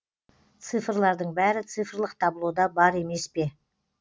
цифрлардың бәрі цифрлық таблода бар емес пе